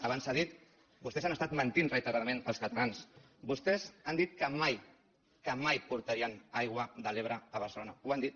abans s’ha dit vostès han estat mentint reiteradament als catalans vostès han dit que mai que mai portarien aigua de l’ebre a barcelona ho han dit